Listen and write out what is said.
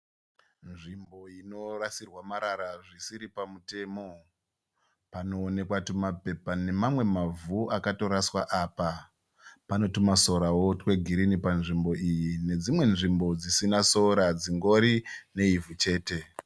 Nzvimbo inorasirwa marara zvisiri pamutemo. Panoonekwa tumapepa nemamwe mavhu akatoraswa apa. Pane tumasorawo twegirinhi panzvimbo iyi nedzimwe nzvimbo dzisina sora dzingori neivhu chete.